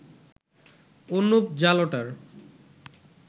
Anup জালোটার